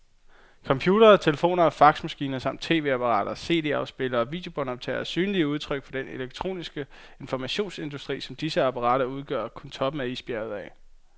Computere, telefoner og faxmaskiner samt tv-apparater, cd-spillere og videobåndoptagere er synlige udtryk for den elektroniske informationsindustri, men disse apparater udgør kun toppen af isbjerget.